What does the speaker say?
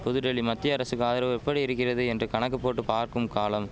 புதுடெல்லி மத்திய அரசுக்கு ஆதரவு எப்படியிருக்கிறது என்று கணக்கு போட்டு பார்க்கும் காலம்